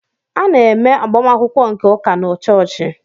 A na-eme agbamakwụkwọ nke ụka na chọọchị.